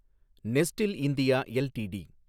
Nestlé India LTD